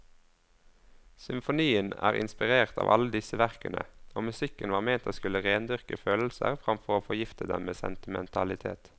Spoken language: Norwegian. Symfonien er inspirert av alle disse verkene, og musikken var ment å skulle rendyrke følelser framfor å forgifte dem med sentimentalitet.